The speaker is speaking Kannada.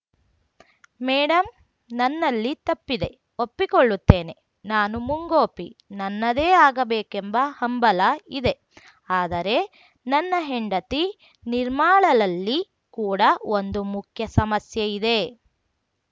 ಮೇಡಮ್‌ ನನ್ನಲ್ಲಿ ತಪ್ಪಿದೆ ಒಪ್ಪಿಕೊಳ್ಳುತ್ತೇನೆ ನಾನು ಮುಂಗೋಪಿ ನನ್ನದೇ ಆಗಬೇಕೆಂಬ ಹಂಬಲ ಇದೆ ಆದರೆ ನನ್ನ ಹೆಂಡತಿ ನಿರ್ಮಾಳಲಲ್ಲಿ ಕೂಡ ಒಂದು ಮುಖ್ಯ ಸಮಸ್ಯೆ ಇದೆ